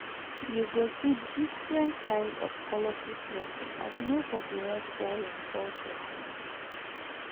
yu go see diffrent kind of colorful dressing as nobodi wan fall him culture hand